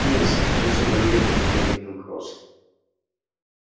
нет сэр это все барьер на вокзале кинг-кросс